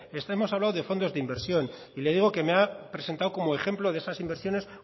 hemos hablado de fondos de inversión y le digo que me ha presentado como ejemplo de esas inversiones